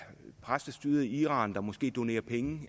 præstestyret i iran der måske donerer penge